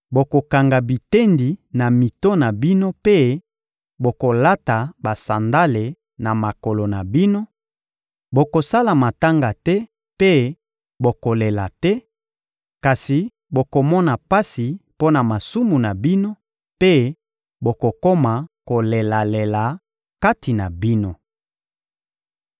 bokokanga bitendi na mito na bino mpe bokolata basandale na makolo na bino, bokosala matanga te mpe bokolela te, kasi bokomona pasi mpo na masumu na bino mpe bokokoma kolelalela kati na bino.